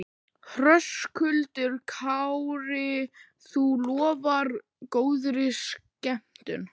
Höskuldur Kári: Þú lofar góðri skemmtun?